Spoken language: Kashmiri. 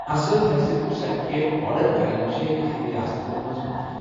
اصل حیثیتٕچ سرٹیفکیٹ آرڈر کرٕنۍ چھےٚ کینٛہَن رِیاستَن منٛز مُفُت۔